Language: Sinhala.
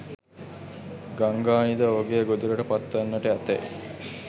ගංගානිද ඔහුගේ ගොදුරට පත්වන්නට ඇතැයි